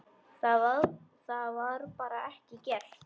Það var bara ekki gert.